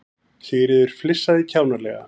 Sigríður flissaði kjánalega.